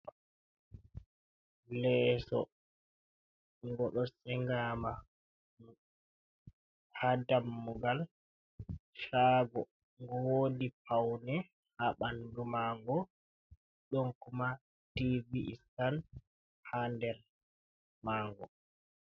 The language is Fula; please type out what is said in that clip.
Leeso go do sengama ha dammugal shago, go wodi paune ha bandu maga donkuma tibi’istan hader mago.